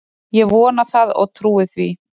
Ég vona það og trúi því